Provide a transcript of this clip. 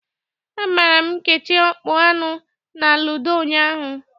Agbara m Nkechi ọkpụ anọ na ludo ụnyaahụ.